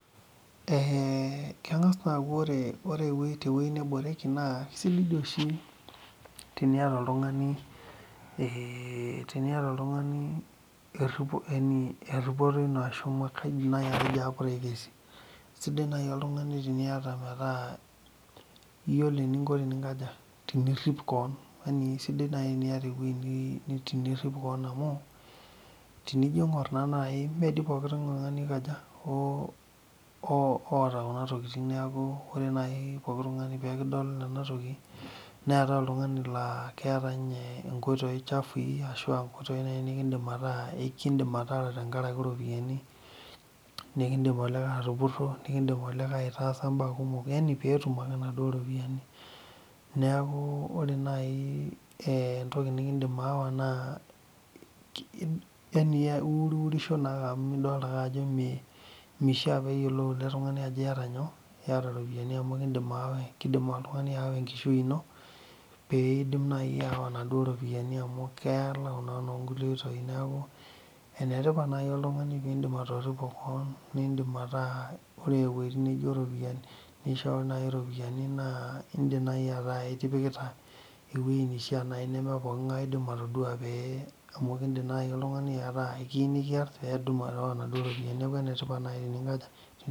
Eeeh keng'as naa aaku ore tewueji neboreki naa eisidai oshi teniata oltung'ani eripoto ino ashuu sidai naaji oltung'ani teniata meetaa iyiolo eninko teninkaja tenirip kewon isidai naaji teniata ewueji tenirip kewon amu tenijio aing'or naa naaji meedii pooki tung'ani oikaja oota kuna tokitin neeku ore naaji pooki tung'ani peekidol ena toki neetai oltung'ani laaa keeta ninye inkoitoi chafui ashu ekindiim ataara renkaraki iropiyiani nikidim olikae atupuro yaani peetum akw inaduo ropiyiani neeku ore naai entoki nikindim aawa naa yaani iurisho risho ake amu miyieu neyiolou ele tung'ani ajo iyata iropiyiani amu keidim aawa enkishui ino neidim naaji aawa inaduo ropiyiani amu keelau naa nee enetipat naaji oltung'ani peeindim atoripo kewon metaa ore naaji entoki naijio iropiyiani neishoo naaji iropiyiani naa indiim naaji ataa ipikita ewueji neishia amu ekindim naaji oltung'ani ataa ekiyieu nikiar aawa inaduo ropiyiani neeku enetipat naaji teninkaja